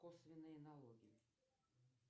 косвенные налоги